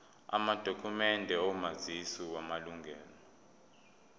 amadokhumende omazisi wamalunga